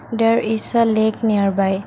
there is a lake nearby.